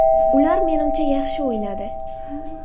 Ular menimcha, yaxshi o‘ynadi.